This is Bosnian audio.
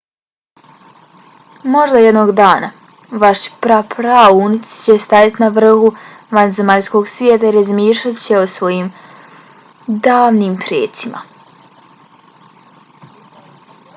možda jednog dana vaši pra praunuci će stajati na vrhu vanzemaljskog svijeta i razmišljat će o svojim davnim precima?